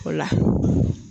O la